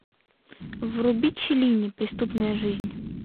вруби челлини преступная жизнь